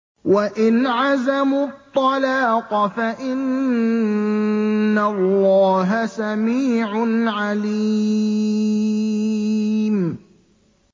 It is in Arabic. وَإِنْ عَزَمُوا الطَّلَاقَ فَإِنَّ اللَّهَ سَمِيعٌ عَلِيمٌ